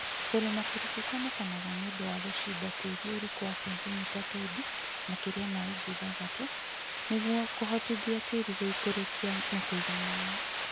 Kũrĩma kũriku kuonekanaga niũndũ wa gũcimba tĩĩri ũriku wa sentimita twendi (makĩria ma inji ithathatu) niguo kuhotithia tĩĩri gũikũrũkia na kũiga maĩ